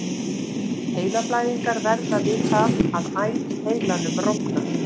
Heilablæðingar verða við það að æð í heilanum rofnar.